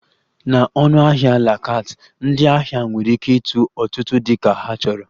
Na ọnụahịa la carte, ndị ahịa nwere ike ịtụ ọtụtụ dị ka ha chọrọ